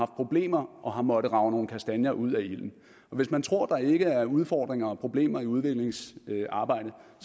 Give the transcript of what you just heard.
problemer og har måttet rage nogle kastanjer ud af ilden hvis man tror der ikke er udfordringer og problemer i udviklingsarbejde